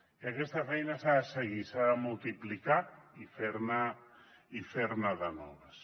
i aquesta feina s’ha de seguir s’ha de multiplicar i fer ne de noves